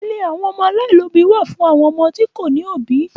Ilé àwọn ọmọ aláìlóòbí wà fún àwọn ọmọ tí wọn kò ní òbí.